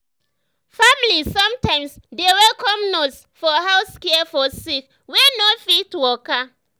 family sometimes dey welcome nurse for house care for sick wey no fit waka.